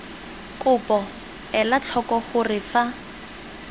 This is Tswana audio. kopo ela tlhoko gore fa